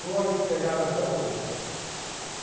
Vou aí te pegar daqui a pouco.